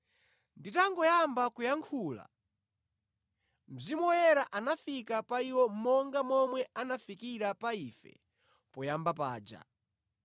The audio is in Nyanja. “Nditangoyamba kuyankhula, Mzimu Woyera anafika pa iwo monga momwe anafikira pa ife poyamba paja.